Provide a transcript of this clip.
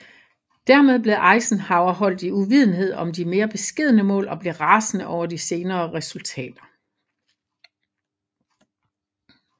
Dermed blev Eisenhower holdt i uvidenhed om de mere beskedne mål og blev rasende over de senere resultater